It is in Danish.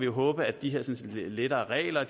håbe at de lettere regler